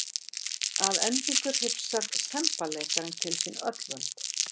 Að endingu hrifsar semballeikarinn til sín öll völd.